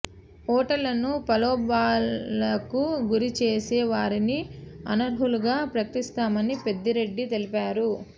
ఓటర్లను ప్రలోభాలకు గురి చేసే వారిని అనర్హులుగా ప్రకటిస్తామని పెద్దిరెడ్డి తెలిపారు